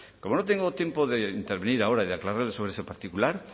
como no tengo tiempo de intervenir ahora y de aclarar sobre ese particular